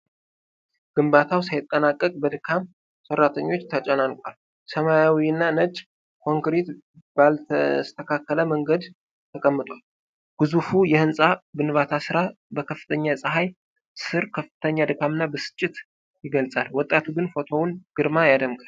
ግንባታው ሳይጠናቀቅ በድካም ሰራተኞች ተጨናንቋል። ሰማያዊና ነጭ ኮንክሪት ባልተስተካከለ መንገድ ተቀምጧል። ግዙፉ የሕንፃ ግንባታ ሥራ በከፍተኛ ፀሐይ ስር ከፍተኛ ድካምና ብስጭትን ይገልጻል። ወጣቱ ግን የፎቶውን ግርማ ያደምቃል።